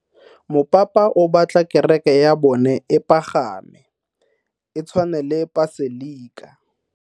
Mopapa o batla kereke ya bone e pagame, e tshwane le paselika.